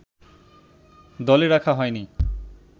দলে রাখা হয়নি